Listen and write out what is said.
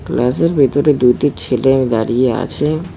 ক্লাসের ভেতরে দুটি ছেলেও দাঁড়িয়ে আছে।